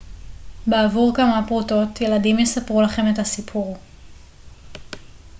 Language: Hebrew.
בעבור כמה פרוטות ילדים יספרו לכם את הסיפור